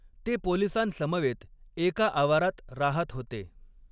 ते पोलिसांसमवेत एका आवारात राहात होते.